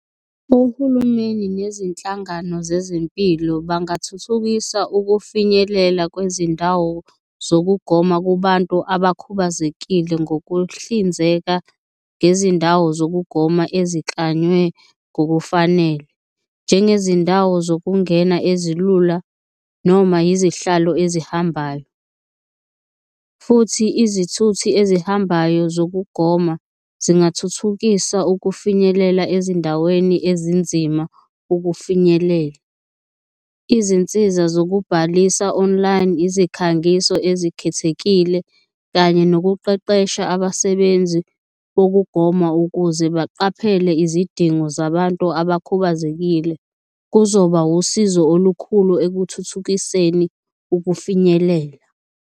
Uhulumeni nezinhlangano zezempilo bangathuthukisa ukufinyelela kwezindawo zokugoma kubantu abakhubazekile ngokuhlinzeka ngezindawo zokugoma eziklanywe ngokufanele, njengezindawo zokungena ezilula noma izihlalo ezihambayo. Futhi izithuthi ezihambayo zokugoma zingathuthukisa ukufinyelela ezindaweni ezinzima ukufinyelela. Izinsiza zokubhalisa online, izikhangiso ezikhethekile kanye nokuqeqesha abasebenzi wokugoma ukuze baqaphele izidingo zabantu abakhubazekile. Kuzoba usizo olukhulu ekuthuthukiseni ukufinyelela.